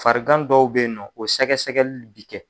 Farigan dɔw bɛ yen na o sɛgɛsɛgɛli bɛ kɛ.